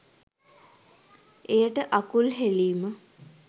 එයට අකුල් හෙලීම